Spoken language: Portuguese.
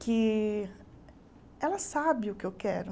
que ela sabe o que eu quero.